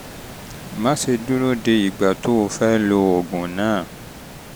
má ṣe dúró de ìgbà tó o tó o fẹ́ lo oògùn náà